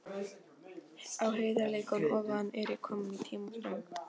Á heiðarleikann ofan er ég kominn í tímaþröng.